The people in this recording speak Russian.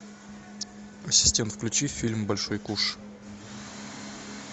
ассистент включи фильм большой куш